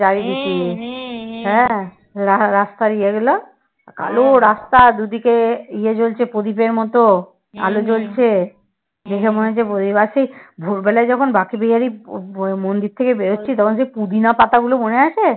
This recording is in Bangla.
ভোরবেলা যখন বাঁকে বিহারীর মন্দির থেকে বেরোচ্ছি তখন সেই পুদিনা পাতাগুলো মনে আছে